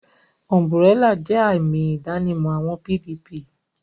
Umburélà jẹ́ àmì ìdánimọ̀ àwọn PDP